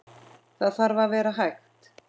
Það þarf að vera hægt.